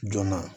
Joona